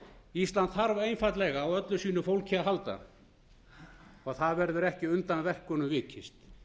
ísland þarf einfaldlega á öllu sínu fólki að halda og það verður ekki undan verkunum vikist